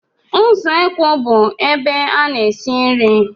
Usekwu bụ ebe a na-esi nri.